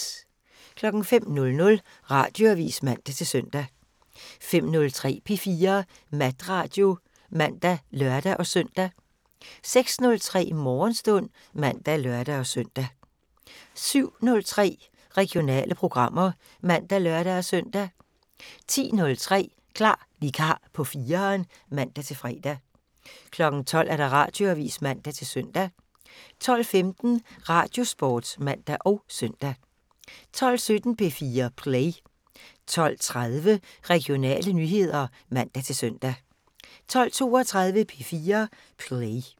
05:00: Radioavisen (man-søn) 05:03: P4 Natradio (man og lør-søn) 06:03: Morgenstund (man og lør-søn) 07:03: Regionale programmer (man og lør-søn) 10:03: Klar vikar på 4'eren (man-fre) 12:00: Radioavisen (man-søn) 12:15: Radiosporten (man og søn) 12:17: P4 Play 12:30: Regionale nyheder (man-søn) 12:32: P4 Play